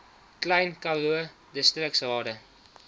klein karoo distriksrade